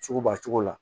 Sugubɛ cogo la